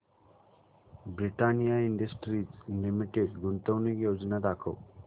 Britannia industries limited गुंतवणूक योजना दाखव